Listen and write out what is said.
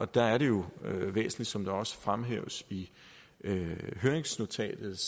der er det jo væsentligt som det også er fremhævet i høringsnotatet